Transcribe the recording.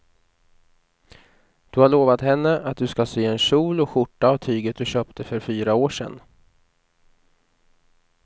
Du har lovat henne att du ska sy en kjol och skjorta av tyget du köpte för fyra år sedan.